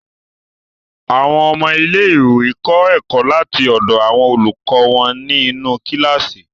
Àwọn ọmọ ilẹ̀-iwé kọ ẹkọ̀ láti ọ̀dọ̀ àwọn olùkọ wọn ni inú kíláṣí.